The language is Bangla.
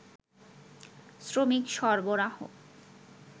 শ্রমিক সরবরাহ